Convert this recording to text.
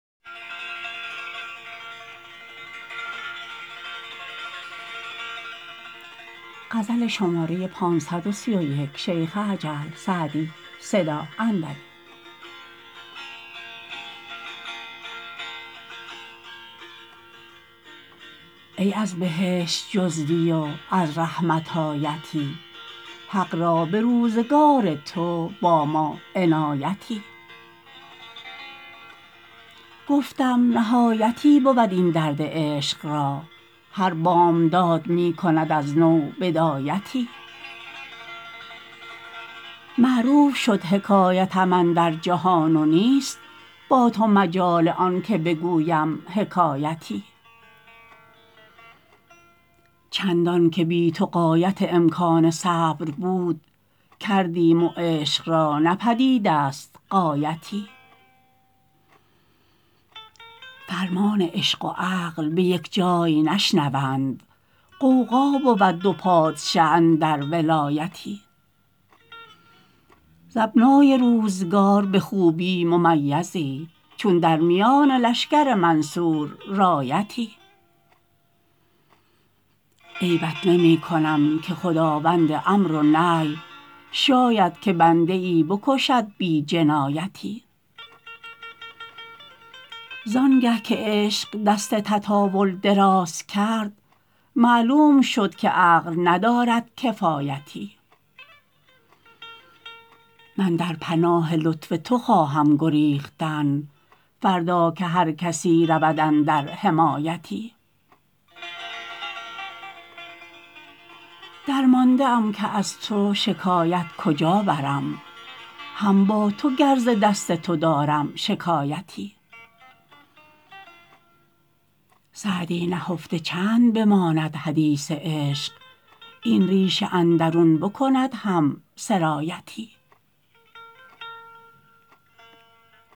ای از بهشت جزوی و از رحمت آیتی حق را به روزگار تو با ما عنایتی گفتم نهایتی بود این درد عشق را هر بامداد می کند از نو بدایتی معروف شد حکایتم اندر جهان و نیست با تو مجال آن که بگویم حکایتی چندان که بی تو غایت امکان صبر بود کردیم و عشق را نه پدید است غایتی فرمان عشق و عقل به یک جای نشنوند غوغا بود دو پادشه اندر ولایتی ز ابنای روزگار به خوبی ممیزی چون در میان لشکر منصور رایتی عیبت نمی کنم که خداوند امر و نهی شاید که بنده ای بکشد بی جنایتی زان گه که عشق دست تطاول دراز کرد معلوم شد که عقل ندارد کفایتی من در پناه لطف تو خواهم گریختن فردا که هر کسی رود اندر حمایتی درمانده ام که از تو شکایت کجا برم هم با تو گر ز دست تو دارم شکایتی سعدی نهفته چند بماند حدیث عشق این ریش اندرون بکند هم سرایتی